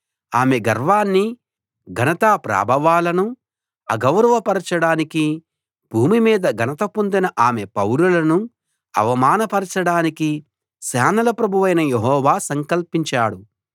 ఆమె గర్వాన్నీ ఘనతా ప్రాభవాలనూ అగౌరవ పరచడానికీ భూమి మీద ఘనత పొందిన ఆమె పౌరులను అవమాన పరచడానికీ సేనల ప్రభువైన యెహోవా సంకల్పించాడు